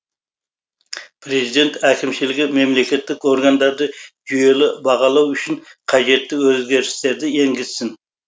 президент әкімшілігі мемлекеттік органдарды жүйелі бағалау үшін қажетті өзгерістерді енгізсін